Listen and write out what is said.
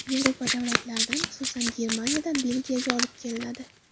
Yevropa davlatlaridan, xususan, Germaniyadan, Belgiyadan olib kelinadi.